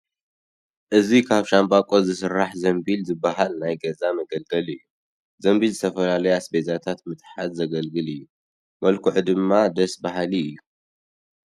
እዚ ካብ ሻንበቆ ዝስራሕ ዘንቢል ዝበሃል ናይ ገዛ መገልገሊ እዩ፡፡ ዘንቢል ዝተፈላለዩ ኣስቤዛታት ንምትሓዝ ዘገልግል እዩ፡፡ መልክዑ ድማ ደስ በሃሊ እዩ፡፡